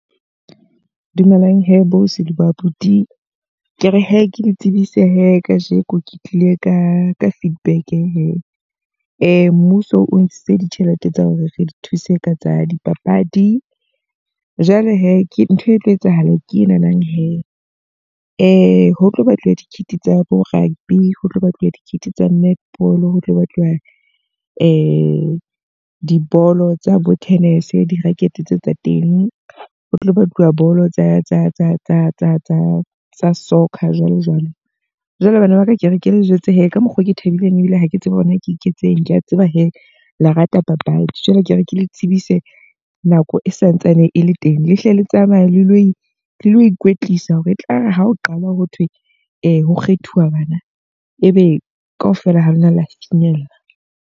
Dumelang he bo ausi le bo abuti. Ke re he ke le tsebise he ka jeko ke tlile ka ka feedback he. Mmuso o ntshitse ditjhelete tsa hore re le thuse ka tsa dipapadi. Jwale he ke ntho e tlo etsahala ke e nahanang he, ho tlo batluwa di-kit tsa bo rugby, ho tlo batluwa di-kit tsa netball, ho tlo batluwa dibolo tsa bo tennis, di-racket tseo tsa teng. Ho batluwa bolo tsa soccer jwalo jwalo. Jwale bana ba ka ke re ke le jwetse he, ka mokgoo ke thabileng ebile ha ke tsebe hore na ke iketseng. Ke a tseba he le rata papadi. Jwale ke re ke le tsebise nako e santsane e le teng. Le hle le tsamaye le lo e lo ikwetlisa hore etlare ha o qala ho thwe e ho kgethuwa bana. E be ka ofela ha lona la finyella.